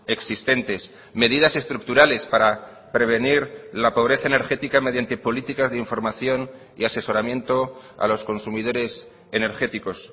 existentes medidas estructurales para prevenir la pobreza energética mediante políticas de información y asesoramiento a los consumidores energéticos